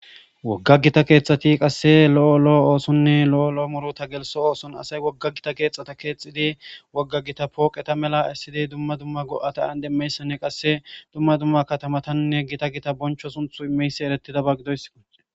Wogga gita keexxati qasse lo'o lo'o oosonne lo'o lo'o muru ta geliso ooson asay wogga gita keexxata keexxidi wogga gita pooqeta mela issidi dumma dumma go'ata an demmeyssanne qasse dumma dumma katamatanne gita gita boncho sunth imeysi eretida ba gidoy.